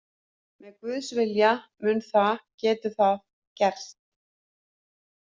Með Guðs vilja, mun það, getur það gerst.